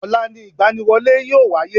Ọ̀la ni ìgbaniwọlé yíò wáyé